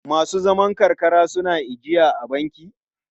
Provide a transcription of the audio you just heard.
Masu zaman karkara suna ijiya a banki?